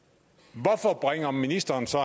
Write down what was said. hvorfor bringer ministeren så